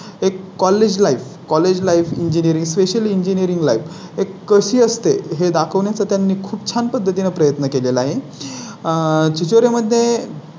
एक college Life college Life specially engineering life एक कशी असते हे दाखवण्या चा त्यांनी खूप छान पद्धतीने प्रयत्न केले ला आहे आहे चोरी मध्ये.